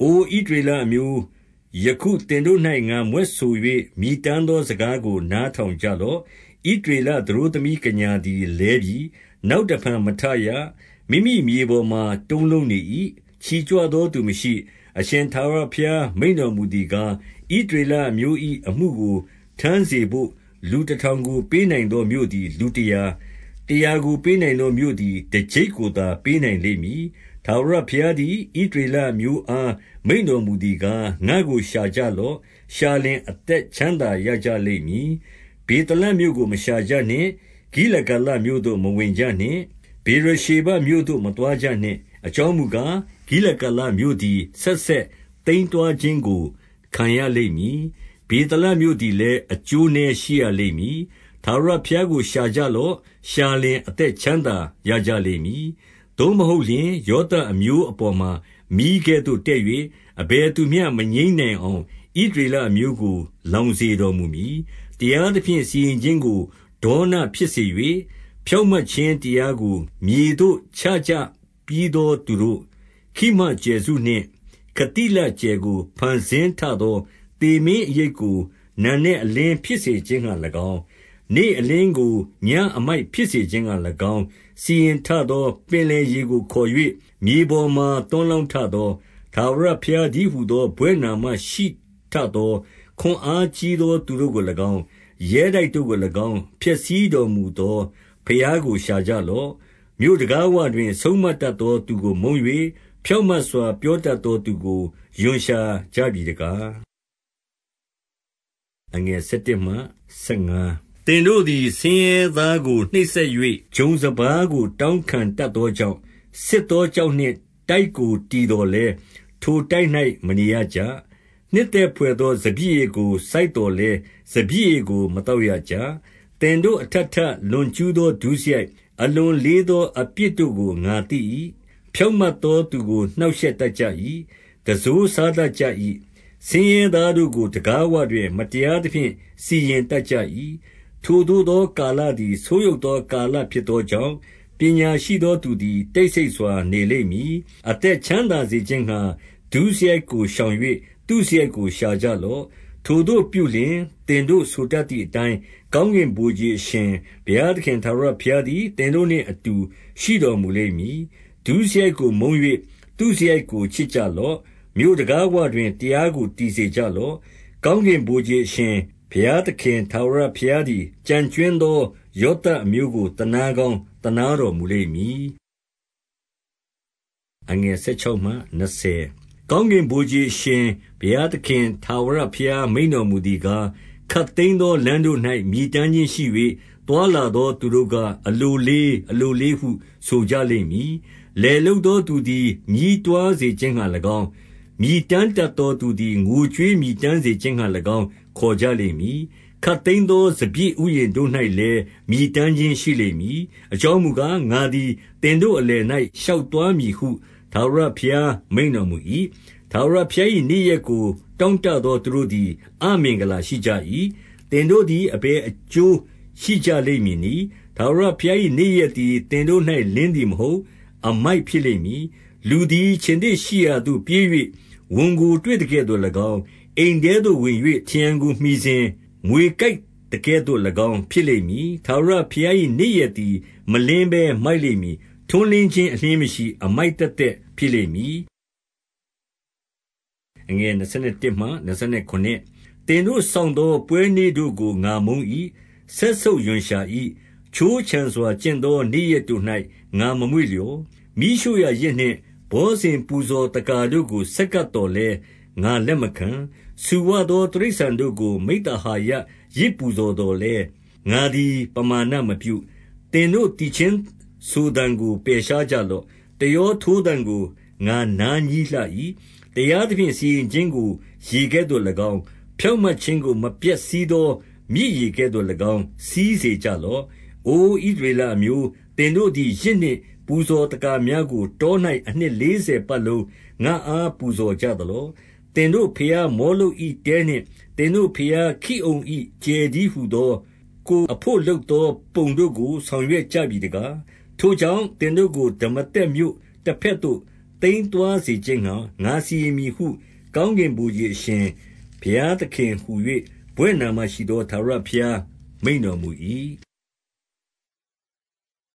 အိုဣသရေလအမျိုး၊ ယခုသင်တို့၌ ငါမြွက်ဆို၍ မြည်တမ်းသောစကားကို နားထောင်ကြလော့။ 2 ဣသရေလသတို့သမီးကညာသည်လဲပြီ။ နောက်တဖန်မထရ။ မိမိမြေပေါ်မှာ တုံးလုံးနေ၏။ ချီကြွ သောသူမရှိ။ 3 အရှင်ထာဝရဘုရားမိန့်တော်မူသည်ကား၊ ဣသရေလအမျိုး၏ အမှုကိုထမ်းစေဘို့ လူတထောင်ကို ပေးနိုင်သောမြို့သည် လူတရာ၊ တရာကို ပေးနိုင်သော မြို့သည် တကျိပ်ကိုသာပေးနိုင်လိမ့်မည်။ 4 ထာဝရဘုရားသည် ဣသရေလအမျိုးအား မိန့်တော်မူသည်ကား၊ ငါ့ကို ရှာကြလော့။ ရှာလျှင်အသက် ချမ်းသာရကြလိမ့်မည်။ 5 ဗေသလမြို့ကို မရှာကြနှင့်။ ဂိလဂါလမြို့သို့မဝင်ကြနှင့်။ ဗေရရှေဘမြို့သို့ မသွားကြနှင့်။ အကြောင်းမူကား၊ ဂိလဂါလမြို့သည် ဆက်ဆက်သိမ်းသွားခြင်းကို ခံရလိမ့်မည်။ ဗေသလမြို့သည်လည်း၊ အကျိုးနည်း ရှိရလိမ့်မည်။ 6 ထာဝရဘုရားကို ရှာကြလော့။ ရှာလျှင် အသက်ချမ်းသာရကြလိမ့်မည်။ သို့မဟုတ်လျှင်၊ ယောသပ်အမျိုး အပေါ်မှာ မီးကဲ့သို့တက်၍၊ အဘယ်သူမျှ မငြိမ်းနိုင်အောင် ဣသရေလအမျိုးကို လောင်စေတော်မူမည်။ 7 တရားသဖြင့် စီရင်ခြင်းကို ဒေါနဖြစ်စေ၍ ဖြောင့်မတ်ခြင်းတရားကို မြေသို့ ချကြပြီးသော သူတို့၊ 8 ခိမကြယ်စုနှင့် ခသိလကြယ်ကို ဖန်ဆင်းထသော၊ သေမင်းအရိပ်ကို နံနက်အလင်း ဖြစ်စေခြင်းငှါ၎င်း၊ နေ့အလင်းကို ညဉ့်အမိုက်ဖြစ်စေခြင်းငှါ၎င်း စီရင်ထသော၊ ပင်လယ်ရေကိုခေါ်၍ မြေပေါ်မှာသွန်းလောင်း ထသော၊ ထာဝရဘုရားတည်းဟူသော ဘွဲ့နာမရှိထသော၊ 9 ခွန်အားကြီးသော သူတို့ကို၎င်း၊ ရဲတိုက်တို့ကို၎င်း ဖျက်ဆီးတော်မူသောဘုရားကို ရှာကြလော့။ 10 မြို့တံခါးဝတွင် ဆုံးမတတ်သောသူကို မုန်း၍ ဖြောင့်မတ်စွာပြောတတ်သော သူကို ရွံ့ရှာကြပြီတကား။ 11 သင်တို့သည် ဆင်းရဲသားကိုနှိပ်စက်၍ ဂျုံစပါးကို တောင်းခံတတ်သောကြောင့်၊ ဆစ်သောကျောက်နှင့် တိုက်ကိုတည်သော်လည်း ထိုတိုက်၌ မနေရကြ။ နှစ်သက်ဘွယ်သော စပျစ်ဥယျာဉ်ကိုစိုက်သော်လည်း၊ စပျစ်ရည် ကို မသောက်ရကြ။ 12 သင်တို့ အထပ်ထပ် လွန်ကျူးသော ဒုစရိုက်၊ အလွန်လေးသော အပြစ်တို့ကို ငါသိ၏။ ဖြောင့်မတ်သော သူကို နှောင့်ရှက်တတ်ကြ၏။ တံစိုးစားတတ်ကြ၏။ ဆင်းရဲသားကို တံခါးဝတွင် မတရားသဖြင့် စီရင်တတ် ကြ၏။ 13 ထိုသို့သောကာလသည် ဆိုးယုတ်သောကာလ ဖြစ်သောကြောင့်၊ ပညာရှိသောသူသည် တိတ်ဆိတ်စွာ နေလိမ့်မည်။ 14 အသက်ချမ်းသာစေခြင်းငှါ ဒုစရိုက်ကိုရှောင်၍ သုစရိုက်ကို ရှာကြလော့။ ထိုသို့ပြုလျှင်၊ သင်တို့ဆိုတတ် သည်အတိုင်း၊ ကောင်းကင်ဗိုလ်ခြေအရှင် ဘုရားသခင်ထာဝရဘုရားသည် သင်တို့နှင့်အတူ ရှိတော်မူလိမ့်မည်။ 15 ဒုစရိုက်ကို မုန်း၍ သုစရိုက်ကို ချစ်ကြလော့။ မြို့တံခါးဝတွင် တရားကို တည်စေကြလော့။ ကောင်းကင် ဗိုလ်ခြေအရှင်ဘုရားသခင်ထာဝရဘုရားသည် ကျန်ကြွင်းသောယောသပ်အမျိုးကို သနားကောင်းသနား တော်မူလိမ့်မည်။ 16 ကောင်းကင်ဗိုလ်ခြေအရှင်ဘုရား သခင်ထာဝရ ဘုရားမိန့်တော်မူသည်ကား၊ ခပ်သိမ်းသောလမ်းတို့၌ မြည်တမ်းခြင်းရှိ၍ သွားလာသောသူတို့က၊ အလိုလေး၊ အလိုလေးဟု ဆိုကြလိမ့်မည်။ လယ်လုပ်သောသူသည် ညည်းတွားစေခြင်းငှါ၎င်း၊ မြည်တမ်းတတ်သောသူသည် ငိုကြွေးမြည်တမ်းစေခြင်းငှါ၎င်း ခေါ်ကြလိမ့်မည်။ 17 ခပ်သိမ်းသောစပျစ်ဥယျာဉ်တို့၌လည်း မြည်တမ်းခြင်းရှိလိမ့်မည်။ အကြောင်းမူကား၊ ငါသည် သင်တို့ အလယ်၌ ရှောက်သွားမည်ဟု ထာဝရဘုရား မိန့်တော်မူ၏။ 18 ထာဝရဘုရား၏နေ့ရက်ကို တောင့်တသောသူတို့သည် အမင်္ဂလာရှိကြ၏။ သင်တို့သည် အဘယ် အကျိုးရှိကြလိမ့်မည်နည်း။ ထာဝရဘုရား၏ နေ့ရက်သည် သင်တို့၌ လင်းသည်မဟုတ်၊ အမိုက်ဖြစ်လိမ့်မည်။ 19 လူသည် ခြင်္သေ့ရှိရာမှပြေး၍ ဝံကိုတွေ့သကဲ့သို့၎င်း၊ အိမ်ထဲသို့ဝင်၍ ထရံကိုမှီစဉ် မြွေကိုက်သကဲ့သို့၎င်း ဖြစ်လိမ့်မည်။ 20 ထာဝရဘုရား၏ နေ့ရက်သည်မလင်းဘဲ မိုက်လိမ့်မည်။ ထွန်းလင်းခြင်း အလျှင်းမရှိ၊ အမိုက်သက်သက် ဖြစ်လိမ့်မည်။ 21 သင်တို့ စောင့်သောပွဲနေ့တို့ကို ငါမုန်း၏။ စက်ဆုပ်ရွံရှာ၏။ ခြိုးခြံစွာကျင့်သော နေ့ရက်တို့၌ ငါမမွေ့ လျော်။ 22 မီးရှို့ရာယဇ်နှင့် ဘောဇဉ်ပူဇော်သက္ကာတို့ကို ဆက်ကပ်သော်လည်း ငါလက်မခံ။ ဆူဝသော တိရစ္ဆာန် တို့ကို မိဿဟာယယဇ်ပူဇော်သော်လည်း ငါသည် ပမာဏမပြု။ 23 သင်တို့သီချင်းဆိုသံကို ပယ်ရှားကြလော့။ တယောထိုးသံကို ငါနားငြီးလှ၏။ 24 တရားသဖြင့် စီရင်ခြင်းကို ရေကဲ့သို့၎င်း၊ ဖြောင့်မတ်ခြင်းကို မပြတ်စီးသော မြစ်ရေကဲ့သို့၎င်း စီးစေကြ လော့။ 25 အိုဣသရေလအမျိုး၊ သင်တို့သည် ယဇ်နှင့် ပူဇော်သက္ကာများကို တော၌ အနှစ်လေးဆယ်ပတ်လုံး ငါ့အား ပူဇော်ကြသလော။ 26 သင်တို့ဘုရား မောလုပ်၏တဲနှင့် သင်တို့ဘုရား ခိအုန်၏ကြယ်တည်းဟူသော ကိုယ်အဘို့ လုပ်သော ပုံတို့ ကို ဆောင်ရွက်ကြပြီတကား။ 27 ထိုကြောင့်၊ သင်တို့ကို ဒမာသက်မြို့တဘက်သို့သိမ်းသွားစေခြင်းငှါ ငါစီရင်မည်ဟု၊ ကောင်းကင်ဗိုလ်ခြေ အရှင်ဘုရားသခင်ဟူ၍ ဘွဲ့နာမရှိသော ထာဝရဘုရား မိန့်တော်မူ၏။